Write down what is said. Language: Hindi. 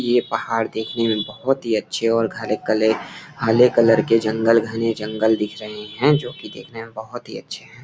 ये पहाड़ देखने में बहुत ही अच्छे और गहरे कलर हरे कलर के जंगल घने जंगल दिख रहे हैं जो कि देखने में बहुत ही अच्छे है।